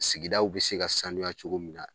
Sigidaw bi se ka sanuya cogo min na.